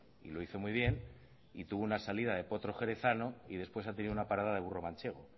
y lo hizo muy bien y tuvo una salida potro jerezano y después ha tenido una parada de burro manchego